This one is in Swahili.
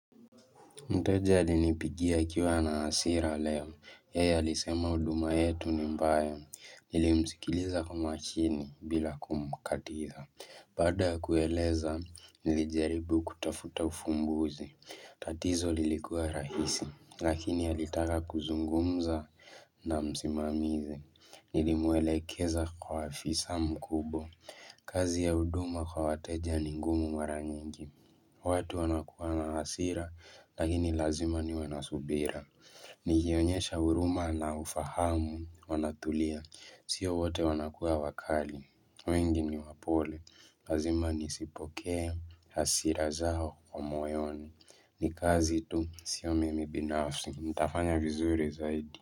Mteja alinipigia akiwa na hasira leo, yeye alisema huduma yetu ni mbaya, nilimsikiliza kwa makini bila kumkatiza. Baada ya kueleza, nilijaribu kutafuta ufumbuzi, tatizo lilikuwa rahisi, lakini alitaka kuzungumza na msimamizi. Nilimwelekeza kwa afisa mkubwa, kazi ya huduma kwa wateja ni ngumu mara nyingi. Watu wanakuwa na hasira, lakini lazima niwe na subira. Nikionyesha huruma na ufahamu, wanatulia, sio wote wanakuwa wakali wengi ni wapole, lazima nisipokee hasira zao kwa moyoni ni kazi tu, sio mimi binafsi, nitafanya vizuri zaidi.